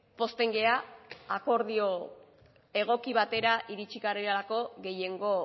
pozten gara akordio egoki batera iritzi garelako gehiengo